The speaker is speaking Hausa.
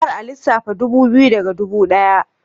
Kar a lissafta ɗubu biyu daga ɗubu ɗaya